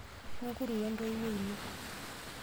Mikuru we ntoiwoi ino.